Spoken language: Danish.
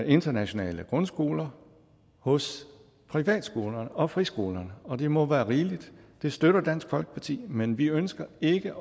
internationale grundskoler hos privatskolerne og friskolerne og det må være rigeligt det støtter dansk folkeparti men vi ønsker ikke